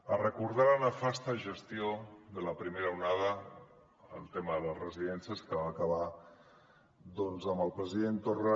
a recordar la nefasta gestió de la primera onada en el tema de les residències que va acabar doncs amb el president torra